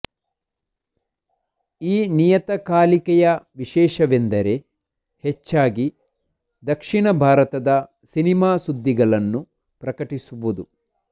ಈ ನಿಯತಕಾಲಿಕೆಯ ವಿಶೇಷವೆಂದರೆ ಹೆಚ್ಚಾಗಿ ದಕ್ಷಿಣ ಭಾರತದ ಸಿನಿಮಾ ಸುದ್ದಿಗಳನ್ನು ಪ್ರಕಟಿಸುವುದು